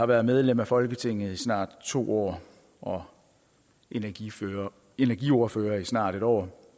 været medlem af folketinget i snart to år og energiordfører energiordfører i snart en år